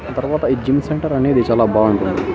తర్వాత ఈ gym centre అనేది చాలా బావుంటుంది.